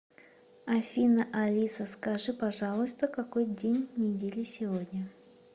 афина алиса скажи пожалуйста какой день недели сегодня